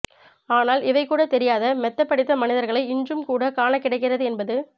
ஆனால் இவை கூடத் தெரியாத மெத்தப் படித்த மனிதர்களை இன்றும் கூட காணக் கிடைக்கிறது என்பது